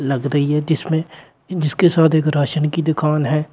लग रही है जिसमें जिसके साथ एक राशन की दुकान है।